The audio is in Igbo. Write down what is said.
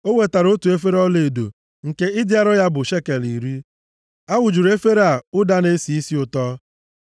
O wetara otu efere ọlaedo, nke ịdị arọ ya bụ shekel iri. A wụjuru efere a ụda na-esi isi ụtọ.